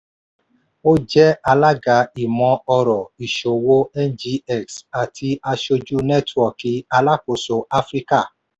ó ó jẹ́ alága ìmọ̀-ọ̀rọ̀ ìṣòwò ngx àti aṣojú nẹ́tíwọ́ọ̀kì alákóso áfíríkà.